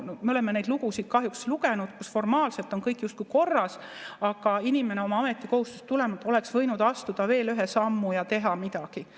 Me oleme neid lugusid kahjuks lugenud, kus formaalselt on kõik justkui korras, aga inimene oma ametikohustustest tulenevalt oleks võinud astuda veel ühe sammu ja teha midagi.